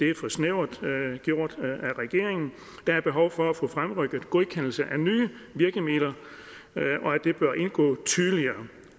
er for snævert gjort af regeringen der er behov for at få fremrykket godkendelse af nye virkemidler og det bør indgå tydeligere